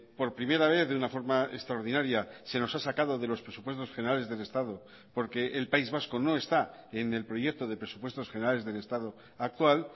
por primera vez de una forma extraordinaria se nos ha sacado de los presupuestos generales del estado porque el país vasco no está en el proyecto de presupuestos generales del estado actual